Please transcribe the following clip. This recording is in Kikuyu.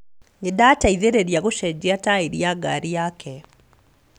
Nĩndateithĩrĩria gũcenjia taĩri ya ngari yake